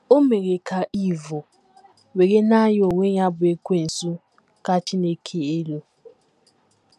O mere ka Iv were na ya onwe ya bụ́ Ekwensu ka Chineke elu.